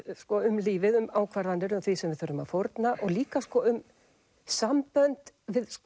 um lífið um ákvarðanir og því sem við þurfum að fórna og líka um sambönd